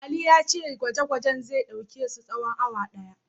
Ali ya ce gwaje-gwajen zai ɗauke su tsawon awa ɗaya.